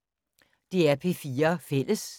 DR P4 Fælles